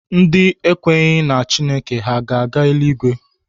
Ndị ekwenyeghị na Chineke ha ga-aga eluigwe?